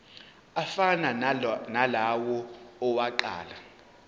afana nalawo awokuqala